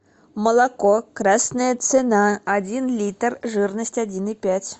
молоко красная цена один литр жирность один и пять